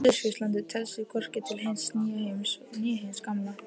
Suðurskautslandið telst því hvorki til hins nýja heims né hins gamla.